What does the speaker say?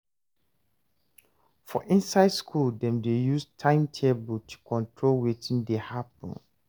For inside school dem dey use time table to take control wetin dey happen